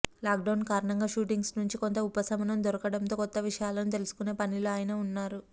lockdown కారణంగా shootings నుంచి కొంత ఉపశమనం దొరకడంతో కొత్త విషయాలను తెలుసుకునే పనిలో ఆయన ఉన్నారు